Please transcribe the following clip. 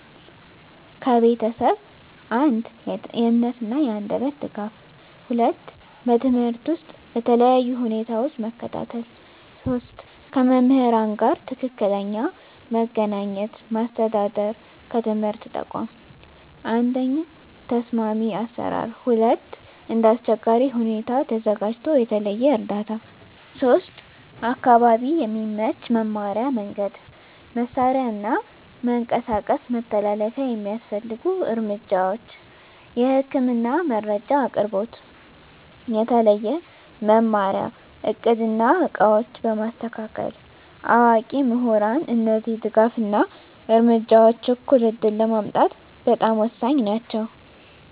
ከቤተሰብ፦ 1. የእምነት እና የአንደበት ድጋፍ 2. በትምህርት ውስጥ በተለያዩ ሁኔታዎች መከታተል 3. ከመምህራን ጋር ትክክለኛ መገናኘት ማስተዳደር ከትምህርት ተቋም፦ 1. ተስማሚ አሰራር 2. እንደ አስቸጋሪ ሁኔታ ተዘጋጅቶ የተለየ እርዳታ 3. አካባቢ የሚመች መማሪያ መንገድ፣ መሳሪያ እና መንቀሳቀስ መተላለፊያ የሚያስፈልጉ እርምጃዎች፦ የህክምና መረጃ አቅርቦት፣ የተለየ መማሪያ እቅድ እና ዕቃዎች በማስተካከል፣ አዋቂ ምሁራን እነዚህ ድጋፍ እና እርምጃዎች እኩል ዕድል ለማምጣት በጣም ወሳኝ ናቸው።